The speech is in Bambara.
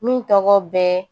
Min tɔgɔ bɛ